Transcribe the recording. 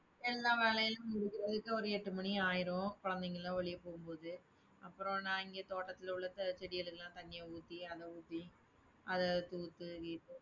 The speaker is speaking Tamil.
எல்லா வேலையெல்லாம் முடிக்கிறதுக்கு ஒரு எட்டு மணி ஆயிரும் குழந்தைங்களாம் வெளிய போகும்போது, அப்புறம் நான் இங்க தோட்டத்துல உள்ள சில செடிகளுக்கெல்லாம் தண்ணிய ஊத்தி, அதை ஊத்தி அதா எடுத்து ஊத்து